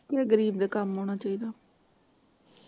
ਕਿਹੇ ਗਰੀਬ ਦੇ ਕੰਮ ਆਉਣਾ ਚਾਹੀਦਾ।